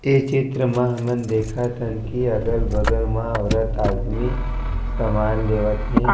ये चित्र म हमन देखत हन की अगल-बगल मा औरत-आदमी समान लेवत हे।